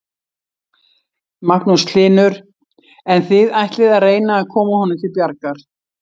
Magnús Hlynur: En þið ætlið að reyna að koma honum til bjargar?